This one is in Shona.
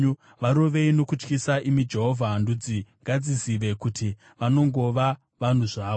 Varovei nokutyisa, imi Jehovha; ndudzi ngadzizive kuti vanongova vanhu zvavo. Sera